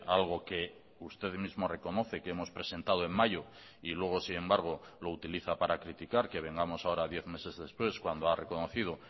algo que usted mismo reconoce que hemos presentado en mayo y luego sin embargo lo utiliza para criticar que vengamos ahora diez meses después cuando ha reconocido